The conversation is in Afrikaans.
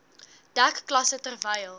dek klasse terwyl